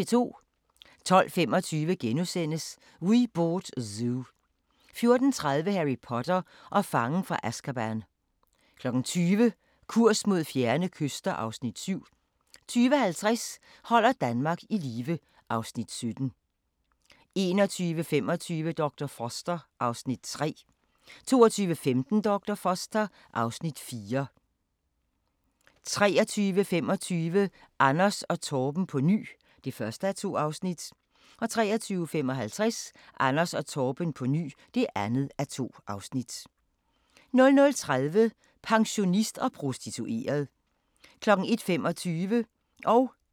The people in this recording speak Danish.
12:25: We Bought a Zoo * 14:30: Harry Potter og fangen fra Azkaban 20:00: Kurs mod fjerne kyster (Afs. 7) 20:50: Holder Danmark i live (Afs. 17) 21:25: Dr. Foster (Afs. 3) 22:15: Dr. Foster (Afs. 4) 23:25: Anders & Torben på ny (1:2) 23:55: Anders & Torben på ny (2:2) 00:30: Pensionist og prostitueret 01:25: Grænsepatruljen